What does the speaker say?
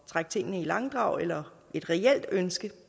trække tingene i langdrag eller et reelt ønske